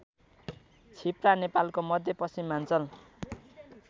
छिप्रा नेपालको मध्यपश्चिमाञ्चल